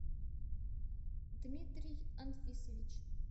дмитрий анфисович